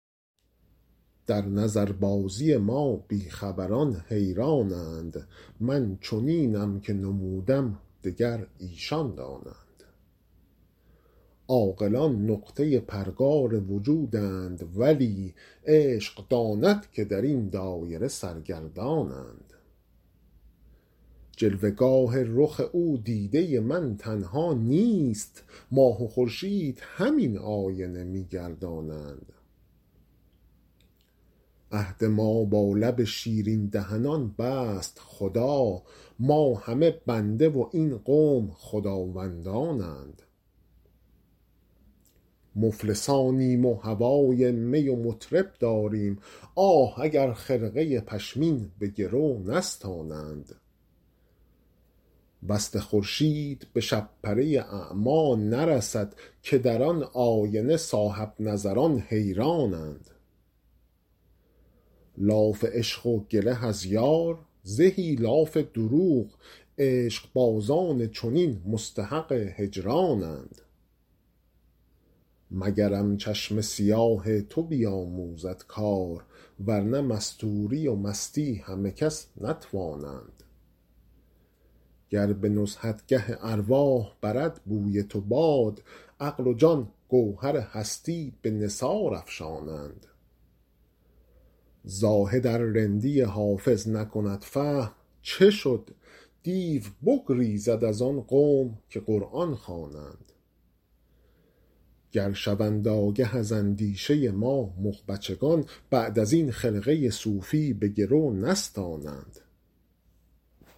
در نظربازی ما بی خبران حیران اند من چنینم که نمودم دگر ایشان دانند عاقلان نقطه پرگار وجودند ولی عشق داند که در این دایره سرگردان اند جلوه گاه رخ او دیده من تنها نیست ماه و خورشید همین آینه می گردانند عهد ما با لب شیرین دهنان بست خدا ما همه بنده و این قوم خداوندان اند مفلسانیم و هوای می و مطرب داریم آه اگر خرقه پشمین به گرو نستانند وصل خورشید به شب پره اعمی نرسد که در آن آینه صاحب نظران حیران اند لاف عشق و گله از یار زهی لاف دروغ عشق بازان چنین مستحق هجران اند مگرم چشم سیاه تو بیاموزد کار ورنه مستوری و مستی همه کس نتوانند گر به نزهتگه ارواح برد بوی تو باد عقل و جان گوهر هستی به نثار افشانند زاهد ار رندی حافظ نکند فهم چه شد دیو بگریزد از آن قوم که قرآن خوانند گر شوند آگه از اندیشه ما مغ بچگان بعد از این خرقه صوفی به گرو نستانند